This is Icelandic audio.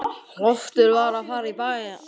Loftur var að fara í bæinn.